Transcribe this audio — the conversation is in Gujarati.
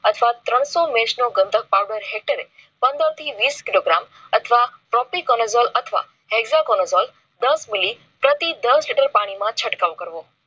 અથવા ત્રણસો મેચ નો ગંધક powder હેક્ટરે પંદર થી વીસ કિલો gram અથવા prope colegol hexa colegol દસ મીલી પ્રતિ દસ લિટર પાણી માં છટકાવ કરવો.